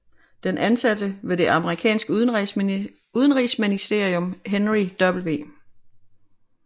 Den ansatte ved det amerikanske udenrigsministerium Henry W